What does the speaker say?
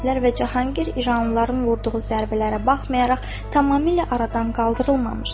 lər və Cahangir İranlıların vurduğu zərbələrə baxmayaraq tamamilə aradan qaldırılmamışdır.